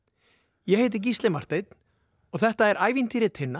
ég heiti Gísli Marteinn og þetta er ævintýri Tinna